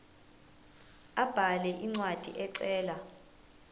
abhale incwadi ecela